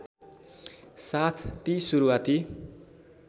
साथ ती सुरुवाती